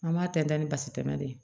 An b'a tɛntɛn ni basi tɛmɛ de ye